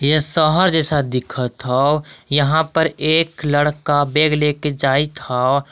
ये शहर जैसा दिखत हौ यहाँ पर एक लड़का बैग लेके जायत हौ।